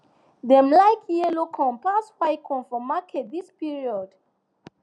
dem like yellow corn pass white corn for market this period